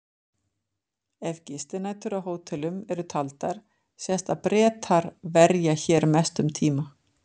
Ef gistinætur á hótelum eru taldar sést að Bretar verja hér mestum tíma.